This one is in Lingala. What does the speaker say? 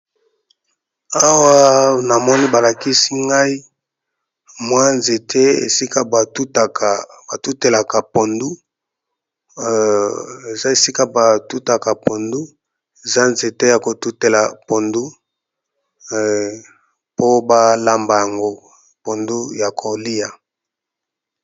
Awa namoni balakisi ngai mwa nzete batutelaka pondu eza esika batutaka pondu eza nzete ya kotutela pondu po balamba yango pondu ya kolia.